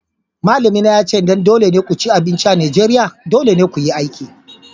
Malamina ya ce idan dole ne ku ci abinci a Najeriya, dole ne ku yi aiki.